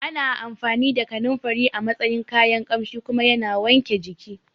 Ana amfani da Kananfari a matsayin kayan Ƙamshi kuma yana wanke jiki